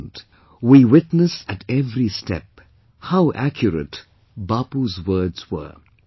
At present we witness at every step how accurate Bapus words were